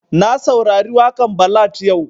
Na saurari waƙan ballad yau